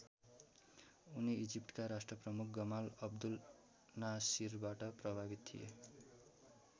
उनी इजिप्टका राष्ट्रप्रमुख गमाल अब्दुल नासिरबाट प्रभावित थिए।